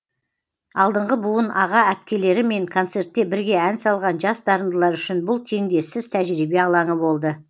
алдыңғы буын аға әпкелерімен концертте бірге ән салған жас дарындылар үшін бұл теңдессіз тәжірибе алаңы болды